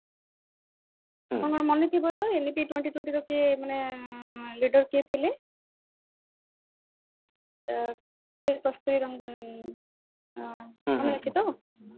ଆପଣଙ୍କ ମାନେ ଥିବ ତ ଏମିତି twenty twenty ର କିଏ ମାନେ leader କିଏ ଥିଲେ ମନେ ଅଛି ତ